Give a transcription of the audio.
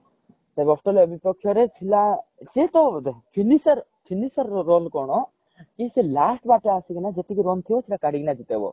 ତେବେ ଅଷ୍ଟ୍ରଳିଆ ବିପକ୍ଷ ରେ ଥିଲା ସେ ତ finisher finisher ର role କଣ ଯେ ସିଏ last batter ଆସିବ ନା ଯେ ସିଏ ଯେତିକିଟା run ଥିବ ସେଇଟା କାଢିକିନ ଜିତେଇବ